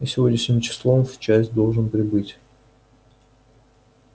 я сегодняшним числом в часть должен прибыть